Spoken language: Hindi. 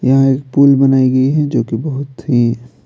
यहाँ एक पूल बनाई गई है जो कि बहुत ही--